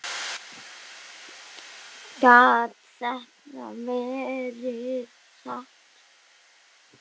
Gat þetta verið satt?